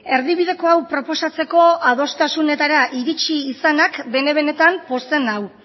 erdibideko hau proposatzeko adostasunetara iritsi izanak bene benetan pozten nau